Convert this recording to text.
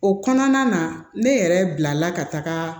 O kɔnɔna na ne yɛrɛ bila la ka taga